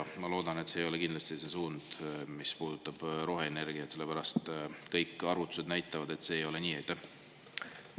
Ma kindlasti loodan, et see ei ole see suund, mis puudutab roheenergiat, sellepärast et kõik arvutused näitavad, et see ei ole nii.